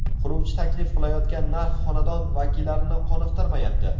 Quruvchi taklif qilayotgan narx xonadon vakillarini qoniqtirmayapti.